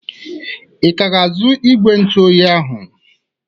I ka ga-azu igwe ntụoyi ahụ?